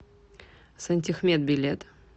сантехмет билет